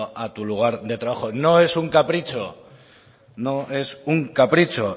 a tu lugar de trabajo no es un capricho